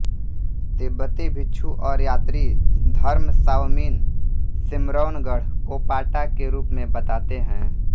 तिब्बती भिक्षु और यात्री धर्मसावमिन सिम्रौनगढ़ को पाटा के रूप में बताते हैं